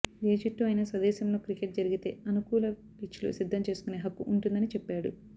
ఏ జట్టు అయినా స్వదేశంలో క్రికెట్ జరిగితే అనుకూల పిచ్లు సిద్ధం చేసుకునే హక్కు ఉంటుందని చెప్పాడు